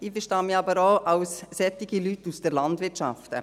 Ich verstehe mich aber auch als «solche Leute aus der Landwirtschaft».